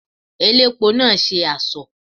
Elépo náà ṣe asọ̀.